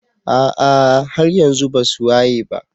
ah ah haryanxu basuwayeba.